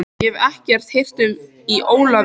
Ég hef ekkert heyrt í Ólafi.